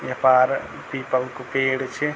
य पार पीपल कु पेड़ च।